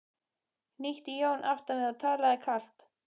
hnýtti Jón aftan við og talaði kalt.